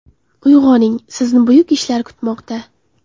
Uyg‘oning sizni buyuk ishlar kutmoqda.